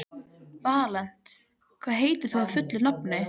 Valíant, hvað heitir þú fullu nafni?